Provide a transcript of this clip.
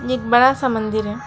एक बड़ा सा मंदिर है।